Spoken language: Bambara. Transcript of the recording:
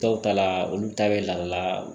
Dɔw ta la olu ta bɛ la